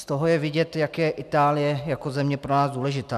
Z toho je vidět, jak je Itálie jako země pro nás důležitá.